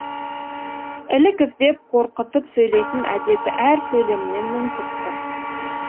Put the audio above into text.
ілік іздеп қорқытып сөйлейтін әдеті әр сөйлемінен мүңкіп тұр